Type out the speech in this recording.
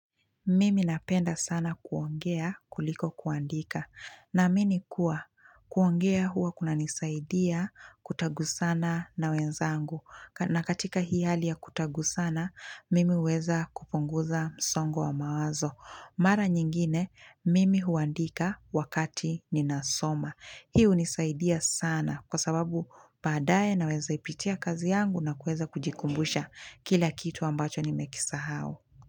Mimi napenda sana kuongea kuliko kuandika na mini kuwa. Kuongea huwa kuna nisaidia kutagu sana na wenzangu na katika hii hali ya kutagu sana mimi weza kupnguza msongo wa mawazo. Mara nyingine mimi huandika wakati ni nasoma. Hii hunisaidia sana kwa sababu badaye na weza ipitia kazi yangu na kueza kujikumbusha kila kitu ambacho ni mekisa hao.